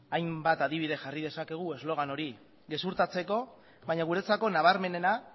hainbat adibide jarri dezakegu eslogan hori gezurtatzeko baina guretzako nabarmenena